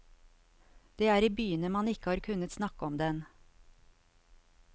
Det er i byene man ikke har kunnet snakke om den.